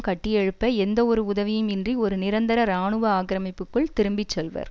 கட்டியெழுப்ப எந்தவொரு உதவியும் இன்றி ஒரு நிரந்தர இராணுவ ஆக்கிரமிப்புக்குள் திரும்பி செல்வர்